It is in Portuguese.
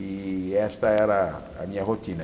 E essa era a minha rotina.